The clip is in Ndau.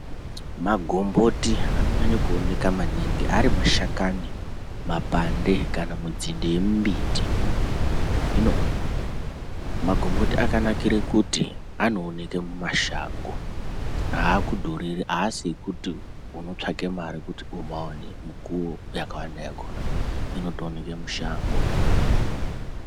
Magomboti anonyanya kuoneka maningi arimushakani, mapande kana kuti nzinde yemumbiti hino magomboti akanakire pakuti anooneke mumashango aakudhuriri aasi ekuti unotsvaka mare kuti umaone mukuwo yakawanda yakona inotooneke mushango.